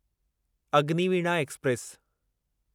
Agniveena express